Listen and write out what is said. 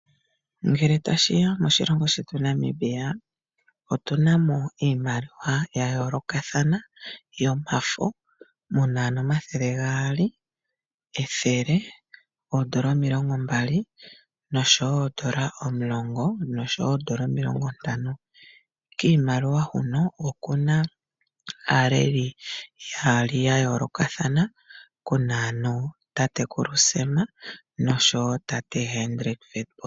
Ngele tashiya koshilongo shetu Namibia otuna mo iimaliwa ya yolokathana yomafo. Muna ano omathele gaali, ethele, oodollar omilongo mbali, noshowo oodollar omulongo, noshowo oodollar omilongo ntano. Kiimaliwa huno okuna aaleli yaali yayolokathana, kuna ano tatekulu Sam noshowo tate Hendrick Witbooi.